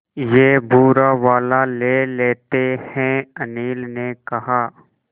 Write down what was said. ये भूरा वाला ले लेते हैं अनिल ने कहा